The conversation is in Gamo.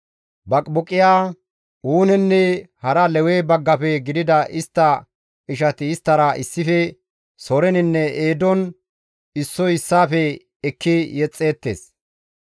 Baqibuqiya, Uunenne hara Lewe baggafe gidida istta ishati isttara issife soreninne eedon issoy issaafe ekki yexxeettes.